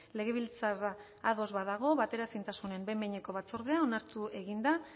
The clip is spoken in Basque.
legebiltzarra ados badago bateraezintasunen behin behineko batzordea onartu egin da